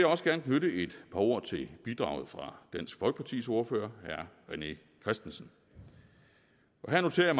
også gerne knytte et par ord til bidraget fra dansk folkepartis ordfører herre rené christensen her noterer